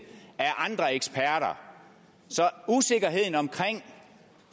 af andre eksperter så usikkerheden om